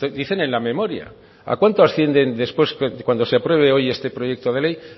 dicen en la memoria a cuánto asciende después de cuando se apruebe hoy este proyecto de ley